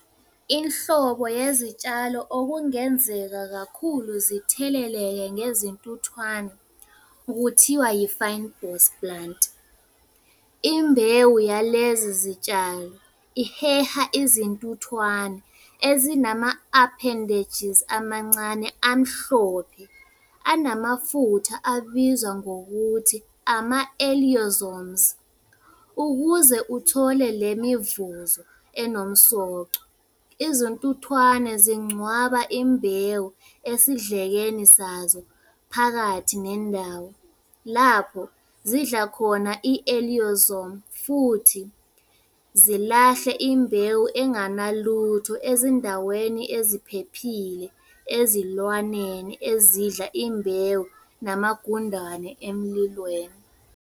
Inhlobo yezitshalo okungenzeka kakhulu zitheleleke ngezintuthwane kuthiwa yi-fynbos plant. Imbewu yalezi zitshalo iheha izintuthwane ezinama-appandages amancane amhlophe, anamafutha abizwa ngokuthi ama-eliyozonzi. Ukuze uthole le mivuzo enomsoco, izintuthwane zingcwaba imbewu esidlekeni sazo phakathi nendawo. Lapho zidla khona i-eliyozom futhi zilahle imbewu enganalutho ezindaweni eziphephile ezilwaneni ezidla imbewu namagundane emlilweni.